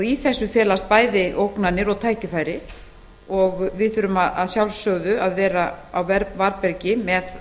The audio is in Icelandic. í því felast bæði ógnanir og tækifæri en við þurfum að sjálfsögðu að vera á varðbergi með